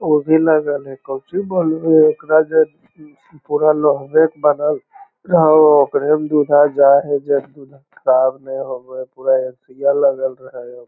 उ भी लागल हेय कोन चीज ब ओकरा जे पूरा लोह बे के बनल ह ओकरे में लगल हेय।